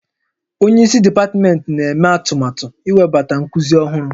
Onye isi dipatmentị na-eme atụmatụ iwebata nkuzi ọhụrụ